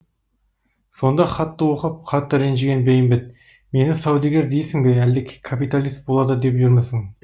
сонда хатты оқып қатты ренжіген бейімбет мені саудагер дейсің бе әлде капиталист болады деп жүрмісің